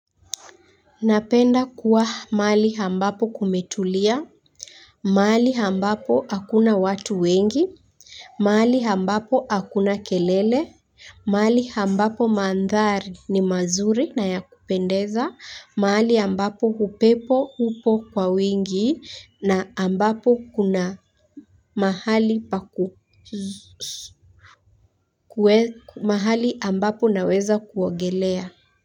Napenda kuwa mahali ambapo kumetulia. Mahali ambapo hakuna watu wengi. Mali hambapo hakuna kelele. Mahali ambapo mandhari ni mazuri na ya kupendeza. Mahali ambapo upepo upo kwa wingi na ambapo kuna mahali pa ku mahali ambapo unaweza kuogelea.